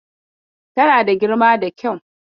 Tana da girma da kyau.